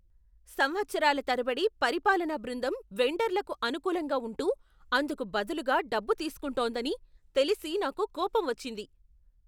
సంవత్సరాల తరబడి పరిపాలనా బృందం వెండర్లకు అనుకూలంగా ఉంటూ, అందుకు బదులుగా డబ్బు తీసుకుంటోందని తెలిసి నాకు కోపం వచ్చింది.